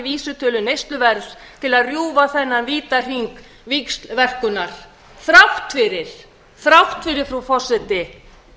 vísitölu neysluverðs til að rjúfa þennan vítahring víxlverkunar þrátt fyrir þrátt fyrir frú forseti